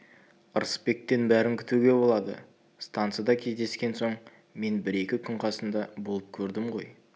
ырысбектен бәрін күтуге болады стансада кездескен соң мен бір-екі күн қасында болып көрдім ғой